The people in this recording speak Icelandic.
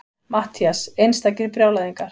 MATTHÍAS: Einstakir brjálæðingar!